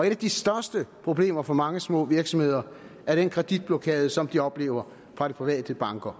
et af de største problemer for mange små virksomheder er den kreditblokade som de oplever fra de private bankers